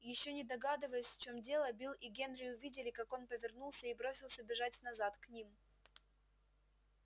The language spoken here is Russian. ещё не догадываясь в чем дело билл и генри увидели как он повернулся и бросился бежать назад к ним